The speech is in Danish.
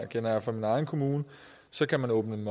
kender jeg fra min egen kommune så kan man åbne det